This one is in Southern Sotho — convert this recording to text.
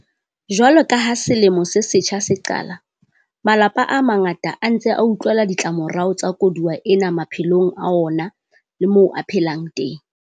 Jwalo ka ha selemo se setjha se qala, malapa a mangata a ntse a utlwela ditlamorao tsa koduwa ena maphelong a ona le moo a phelang teng.